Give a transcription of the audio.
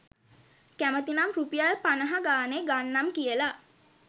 කැමැති නම් රුපියල් පනහා ගණනේ ගන්නම් කියලා